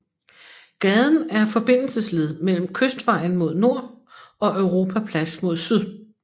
Gaden er forbindelsesled mellem Kystvejen mod nord og Europaplads mod syd